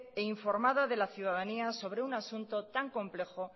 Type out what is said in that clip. e informada de la ciudadanía sobre un asunto tan complejo